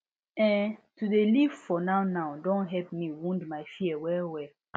ehn to dey live for nownow don help me wound my fear wellwell